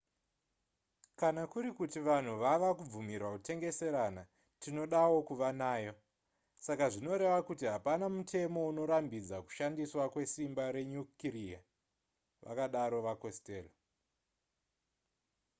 kana kuri kuti vanhu vava kubvumirwa kutengeserana tinodawo kuva nayo saka zvinoreva kuti hapana mutemo unorambidza kushandiswa kwesimba renyukireya vakadaro vacostello